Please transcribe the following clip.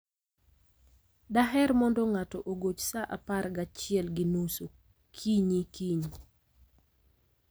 Daher mondo ng'ato ogoch sa apar gachiel gi nus okinyi kiny.